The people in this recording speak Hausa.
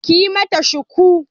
Ki yi mata shuku!